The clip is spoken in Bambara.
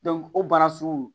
o bana sugu